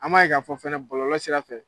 An b' ye k'a fɔ fɛnɛ bɔlɔlɔ sira fɛ.